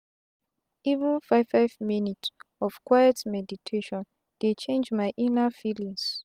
even five five minutes of quiet meditation dey change my inna feelings.